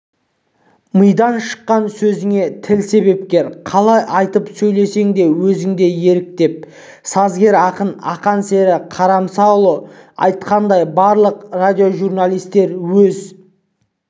мидан шыққан сөзіңе тіл себепкер қалай айтып сөйлесең өзіңде ерік деп сазгер-ақын ақансері қорамсаұлы айтқандай барлық радиожурналистер өз